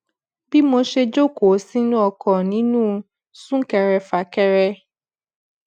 bí mo ṣe jókòó sínú ọkò ninu sunkerefakere